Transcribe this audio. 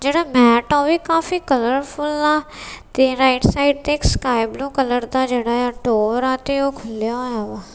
ਜਿਹੜਾ ਮੈਟ ਹਾ ਓਹ ਵੀ ਕਾਫੀ ਕਲਰਫੁਲ ਆ ਤੇ ਰਾਇਟ ਸਾਈਡ ਤੇ ਇੱਕ ਸਕਾਈਬਲੂ ਕਲਰ ਦਾ ਜਿਹੜਾ ਆ ਡੋਰ ਆ ਤੇ ਓਹ ਖੁੱਲਿਆ ਹੋਇਆ ਵਾ।